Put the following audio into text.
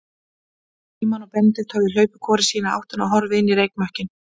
Frímann og Benedikt höfðu hlaupið hvor í sína áttina og horfið inn í reykmökkinn.